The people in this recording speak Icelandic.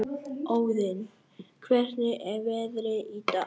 Óðinn, hvernig er veðrið í dag?